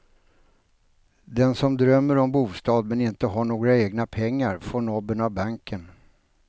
Den som drömmer om bostad men inte har några egna pengar får nobben av banken.